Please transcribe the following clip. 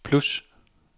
plus